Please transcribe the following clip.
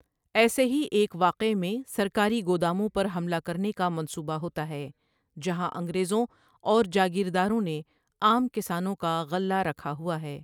ایسے ہی ایک واقعے میں سرکاری گوداموں پر حملہ کرنے کا منصوبہ ہوتا ہے جہاں انگریزوں اور جاگیرداروں نے عام کسانوں کا غلہ رکھا ہوا ہے۔